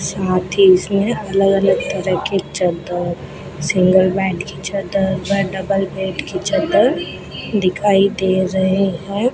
साथ ही इसमें अलग-अलग तरह के चद्दर सिंगल बेड की चद्दर व डबल बेड की चद्दर दिखाई दे रहे हैं।